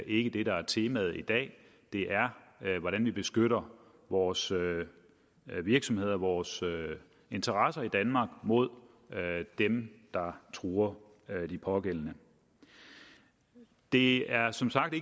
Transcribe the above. ikke det der er temaet i dag det er hvordan vi beskytter vores virksomheder og vores interesser i danmark mod dem der truer de pågældende det er som sagt